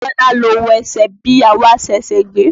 Bíọ́lá ló wesẹ̀ bí ìyàwó aṣẹ̀ṣẹ̀ gbé.